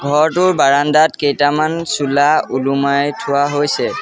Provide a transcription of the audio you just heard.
ঘৰটোৰ বাৰানদাত কেইটামান চোলা উলোমাই থোৱা হৈছে।